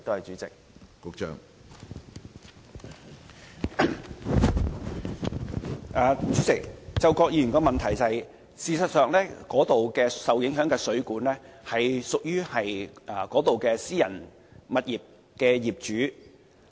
主席，就郭議員的補充質詢，我想指出，該處受影響的水管是屬於私人物業的業主所有。